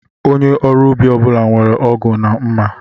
Onye ọrụ ubi ọbula nwèrè ọgụ na mma